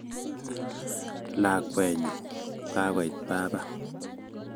lakwenyu kagoit baba